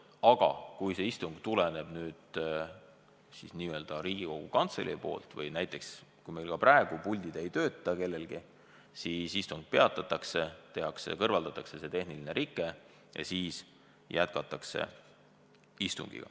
Aga kui takistus tuleneb Riigikogu Kantseleist, kui meil praegu näiteks puldid ei tööta kellelgi, siis istung peatatakse, kõrvaldatakse tehniline rike ja jätkatakse istungit.